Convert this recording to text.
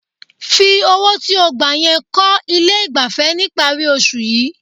Fi owó tí ó gbà yẹn kọ́ ilé ìgbafẹ́ níparí oṣù yìí.